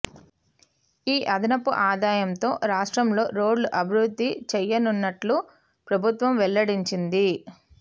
ఈ అదనపు ఆదాయంతో రాష్ట్రంలో రోడ్లు అభివృద్ధి చేయనున్నట్లు ప్రభుత్వం వెల్లడించింది